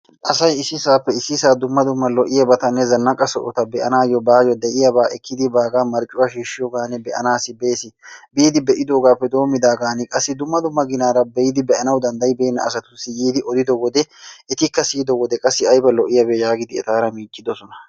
asay issisappe issisa dumma dumma zannaqa sohota be'anayyo baayyo lo''iyaaba ekkidi baaga marccuwa shiishiyoogan be'anassi bees. biidi be'idoogappe doommidaaga qassi dumma dumma ginaara be'idi be'anaw danddayyibeena asatussi yiidi odido wode etikka siyyido wode qassi aybba lo''iyaabe yaagidi etaara miiccidoosona.